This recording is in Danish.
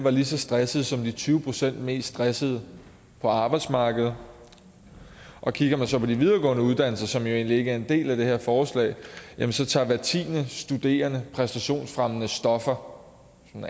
lige så stressede som de tyve procent mest stressede på arbejdsmarkedet og kigger man så på de videregående uddannelser som jo egentlig ikke er en del af det her forslag så tager hver tiende studerende præstationsfremmende stoffer